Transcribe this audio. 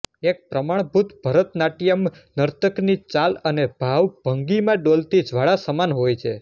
એક પ્રમાણભૂત ભરતનાટ્યમ નર્તકની ચાલ અને ભાવ ભંગિમા ડોલતી જ્વાળા સમાન હોય છે